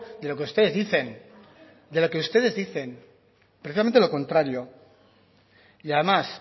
de lo que ustedes dicen de lo que ustedes dicen precisamente lo contrario y además